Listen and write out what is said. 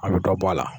A bɛ dɔ bɔ a la